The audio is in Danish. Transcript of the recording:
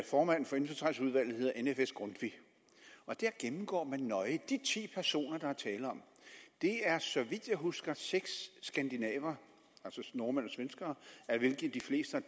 formand for indfødsretsudvalget hedder nfs grundtvig og der gennemgår man nøje de ti personer der er tale om det er så vidt jeg husker seks skandinaver nordmænd og svenskere af hvilke de fleste